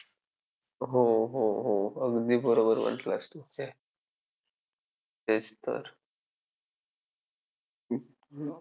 सिंहाची चाल गरुडाची नजर स्त्रियांचा आदर शत्रूंचे मर्दन असेच असावे मावळ्यांचे वर्तन सिंहाची चाल गरुडाची नजर स्त्रियांचा आदर शत्रूंचे मर्दन असेच असावे मावळ्यांचे वर्तन हीच शिवरायांची शिकवण होती.